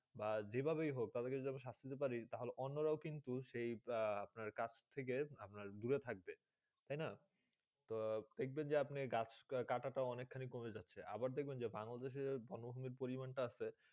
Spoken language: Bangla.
বা যে ভাবে হোক সাষ্টদিতে পারি তা হলে অন্য রা কিন্তু আপনার কাজ থেকে আপনার দূরে থাকবে তো দেখবে আপনি গাছ কাটা তা অনেক কমে যাচ্ছেই আবার দেখবে যে বাংলাদেশে বন্যভূমি পরিমাণ তা আসে